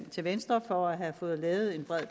til venstre for at have fået lavet et bredt